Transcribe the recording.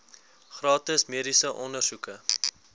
gratis mediese ondersoeke